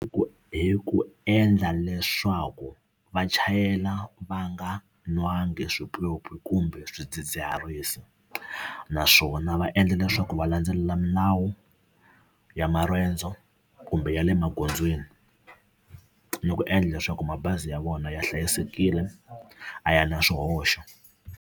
Hi ku hi ku endla leswaku va chayela va nga nwangi swipyopyi kumbe swidzidziharisi naswona va endla leswaku va landzelela milawu ya marendzo kumbe ya le magondzweni ni ku endla leswaku mabazi ya vona ya hlayisekile a ya na swihoxo.